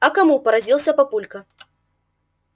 а кому поразился папулька